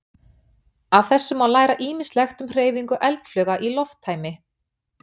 Af þessu má læra ýmislegt um hreyfingu eldflauga í lofttæmi.